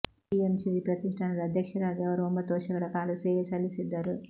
ಬಿಎಂಶ್ರೀ ಪ್ರತಿಷ್ಠಾನದ ಅಧ್ಯಕ್ಷರಾಗಿ ಅವರು ಒಂಬತ್ತು ವರ್ಷ ಗಳ ಕಾಲ ಸೇವೆ ಸಲ್ಲಿಸಿದ್ದರು